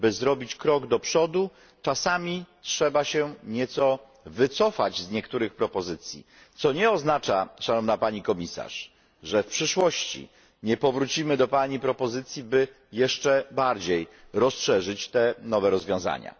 By zrobić krok do przodu, czasami trzeba się nieco wycofać z niektórych propozycji, co nie oznacza, Szanowna Pani Komisarz, że w przyszłości nie powrócimy do Pani propozycji, by jeszcze bardziej rozszerzyć te nowe rozwiązania.